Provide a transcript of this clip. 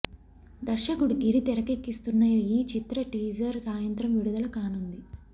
దర్శకుడు గిరి తెరకెక్కిస్తున్న ఈ చిత్ర టీజర్ సాయంత్రం విడుదల కానుంది